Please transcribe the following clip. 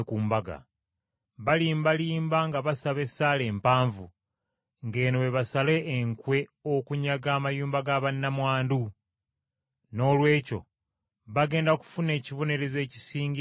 Balimbalimba nga basaba essaala empanvu, ng’eno bwe basala enkwe okunyaga ebintu bya bannamwandu. Noolwekyo bagenda kufuna ekibonerezo ekisingira ddala obunene.”